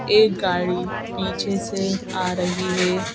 एक गाड़ी पीछे से आ रही है।